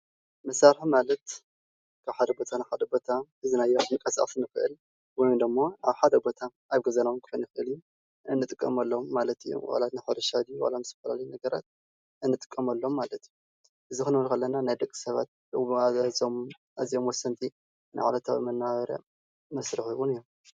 መሳርሒ ማለት ካብ ሓደ ቦታ ናብ ሓደ ቦታ ሒዝናዮ እንቃሳቀስ እንክእል ወይም ደሞ ኣብ ሓደ ቦታ ኣብ ገዛ ክከውን ይክእል እዩ እንጥቀመሎም ማለት እዩ፡፡ ዋላ ናይ እቲ ሕርሻ ድዩ ምስ ዝተፈላለዩ ነገራት እንጥቀመሎም ማለት እዩ፡፡ እዚ ክንብል ከለና ንናይ ደቂሰባት ኣዝዮም ወሰንቲ ንዕለታዊ መነባብሮ መስርሒ እውን እዮም፡፡